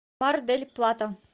мар дель плата